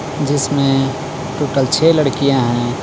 जिसमें टोटल छह लड़कियां हैं.